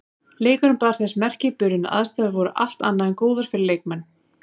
Leikurinn bar þess merki í byrjun að aðstæður voru allt annað en góðar fyrir leikmenn.